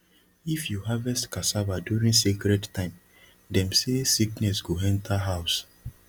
if you harvest cassava during sacred time dem say sickness go enter house